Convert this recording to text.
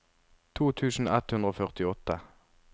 to tusen ett hundre og førtiåtte